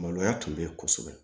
Maloya tun bɛ yen kosɛbɛ